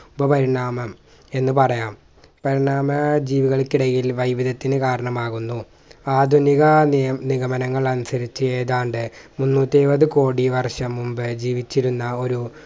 ഉപപരിണാമം എന്ന് പറയാം പരിണാമാ ജീവികൾക്കിടയിൽ വൈവിധ്യത്തിനി കാരണമാകുന്നു ആധുനിക നിയ നിഗമനങ്ങൾ അനുസരിച്ച് ഏതാണ്ട് മുന്നൂറ്റിഇരുപത് കോടി വർഷം മുമ്പേ ജീവിച്ചിരുന്ന ഒരു